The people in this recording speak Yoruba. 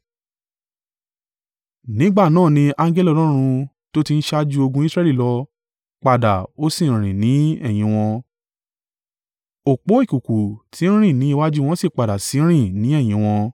Nígbà náà ni angẹli Ọlọ́run tó ti ń ṣáájú ogun Israẹli lọ, padà o sì rìn ni ẹ̀yìn wọn; Òpó ìkùùkuu tí ń rìn ni iwájú wọn sì padà sí í rìn ni ẹ̀yìn wọn.